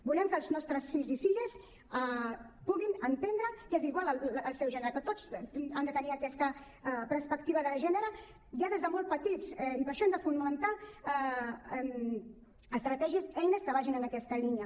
volem que els nostres fills i filles puguin entendre que és igual el seu gènere que tots han de tenir aquesta perspectiva de gènere ja des de molt petits i per això hem de fomentar estratègies eines que vagin en aquesta línia